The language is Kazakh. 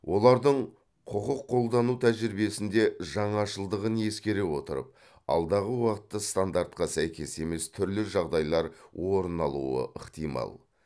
олардың құқық қолдану тәжірибесінде жаңашылдығын ескере отырып алдағы уақытта стандартқа сәйкес емес түрлі жағдайлар орын алуы ықтимал